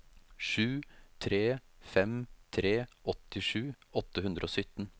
sju tre fem tre åttisju åtte hundre og sytten